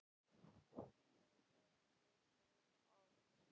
Tóti blikkaði Örn. Ég bið að heilsa